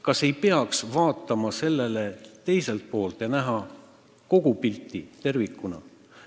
Kas ei peaks vaatama sellele probleemile ka teiselt poolt ja nägema kogu pilti tervikuna?